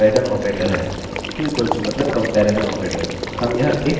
यह पहला comparison operator है